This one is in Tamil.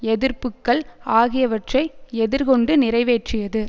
எதிர்ப்புக்கள் ஆகியவற்றை எதிர்கொண்டு நிறைவேற்றியது